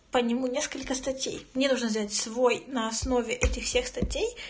несколько статей мне нужно сделать свой основе этого текста